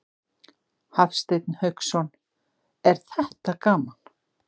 Hafsteinn Hauksson: Er þetta gaman?